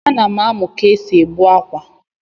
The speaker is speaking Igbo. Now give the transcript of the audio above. A nam amu ka esi egbu akwa.